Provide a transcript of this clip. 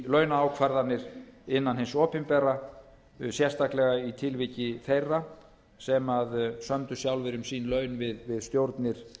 launaákvarðanir innan hins opinbera sérstaklega í tilviki þeirra sem sömdu sjálfir um sín laun við stjórnir